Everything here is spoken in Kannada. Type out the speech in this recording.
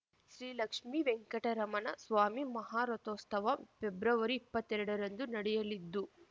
ಶ್ರೀ ಲಕ್ಷ್ಮೀವೆಂಕಟರಮಣ ಸ್ವಾಮಿ ಮಹಾರಥೋತ್ಸವ ಪ್ರೆಬ್ರವರಿ ಎಪ್ಪತ್ತೆರಡರಂದು ನಡೆಯಲಿದ್ದು